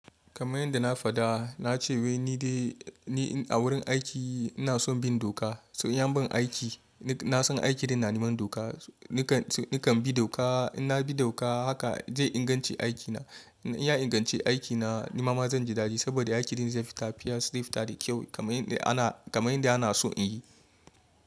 Kamar yadda na faɗa, na ce wai nidai ni a wurin aiki ina son bin doka. In an ban aiki, na san aiki din na neman doka. Nakan bi doka, in na bi doka haka zai inganci aikina. In ya inganci aikina nima ma zan ji dadi saboda aikin din zai fita, fita zai fita da kyau kamar yadda ana so in yi.